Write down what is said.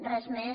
res més